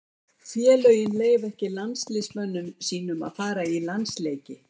Félögin leyfa ekki landsliðsmönnum sínum að fara í landsleiki.